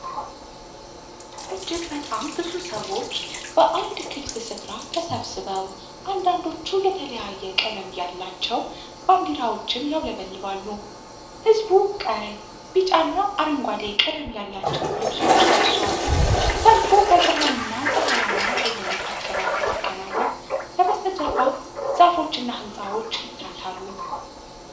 እጅግ በጣም ብዙ ሰዎች በአንድ ክፍት ስፍራ ተሰብስበው፣ አንዳንዶቹ የተለያየ ቀለም ያላቸው ባንዲራዎችን ያውለበልባሉ። ሕዝቡ ቀይ፣ ቢጫ እና አረንጓዴ ቀለም ያላቸውን ልብሶች ለብሷል። ሰልፉ በብርሃንና ፀሐያማ በሆነ አካባቢ ሲከናወን፣ ከበስተጀርባ ዛፎች እና ሕንፃዎች ይታያሉ።